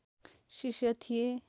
शिष्य थिए